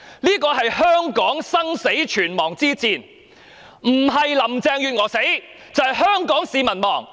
這是香港生死存亡之戰，不是林鄭月娥死，便是香港市民亡。